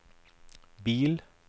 bil